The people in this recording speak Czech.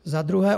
Za druhé.